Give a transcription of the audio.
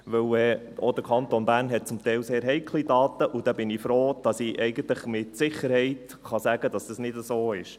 Denn auch der Kanton Bern hat zum Teil sehr heikle Daten, und so bin ich froh, dass ich eigentlich mit Sicherheit sagen kann, dass es nicht so ist.